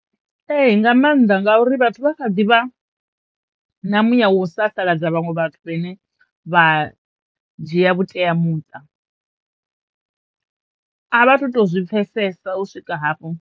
Ee nga maanḓa ngauri vhathu vha kha ḓivha na muya wa u sasaladza vhaṅwe vhathu vhane vha dzhia vhuteamuṱa. A vha tu tozwi pfesesa u swika hafho.